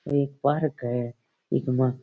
एक पार्क है इक मा --